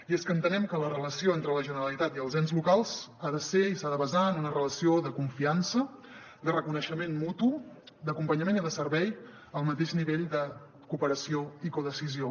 i és que entenem que la relació entre la generalitat i els ens locals ha de ser i s’ha de basar en una relació de confiança de reconeixement mutu d’acompanyament i de servei al mateix nivell de cooperació i codecisió